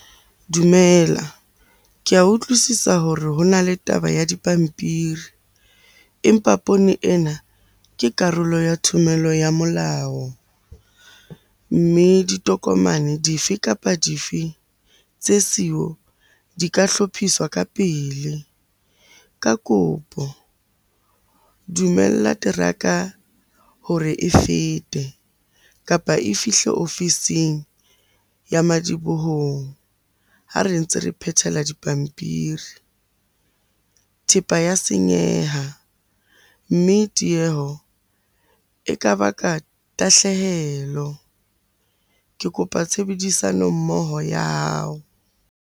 Dumela. Ke a utlwisisa hore ho na le taba ya dipampiri, empa poone ena ke karolo ya thomello ya molao. Mme ditokomane di fe kapa di fe tse siyo di ka hlophiswa ka pele. Ka kopo dumella teraka hore e fete, kapa e fihle ofising ya madibohong ha re ntse re phethela dipampiri. Thepa ya senyeha, mme tieho e ka baka tahlehelo. Ke kopa tshebedisano mmoho ya hao.